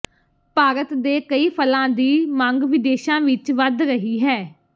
ਭਾਰਤ ਦੇ ਕਈ ਫਲਾਂ ਦੀ ਮੰਗ ਵਿਦੇਸ਼ਾਂ ਵਿਚ ਵੱਧ ਰਹੀ ਹੈ